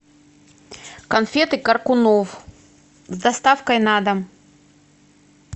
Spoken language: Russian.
конфеты коркунов с доставкой на дом